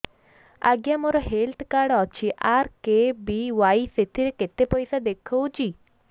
ଆଜ୍ଞା ମୋର health card ଅଛି ଆର୍.କେ.ବି.ୱାଇ ସେଥିରେ କେତେ ପଇସା ଦେଖଉଛି